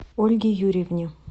ольге юрьевне